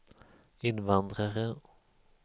invandrare